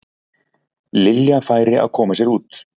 Lilja færi að koma sér út.